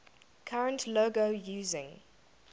current logo using